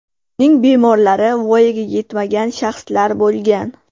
Uning bemorlari voyaga yetmagan shaxslar bo‘lgan.